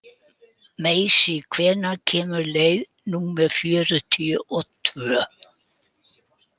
Marsý, hvenær kemur leið númer fjörutíu og tvö?